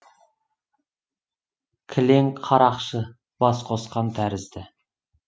кілең қарақшы бас қосқан тәрізді